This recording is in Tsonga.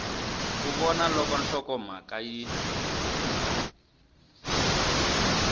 ku vona loko nhlokomhaka yi